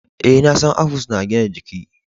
Eh, na san apples na gina jiki.